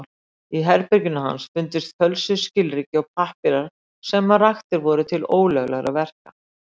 Í herbergi hans fundust fölsuð skilríki og pappírar sem raktir voru til ólöglegra verka.